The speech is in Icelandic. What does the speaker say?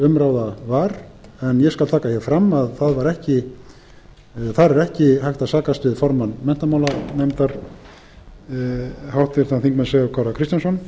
umráða var en ég skal taka hér fram að þar er ekki hægt að kost við formann menntamálanefndar háttvirtur þingmaður sigurð kára kristjánsson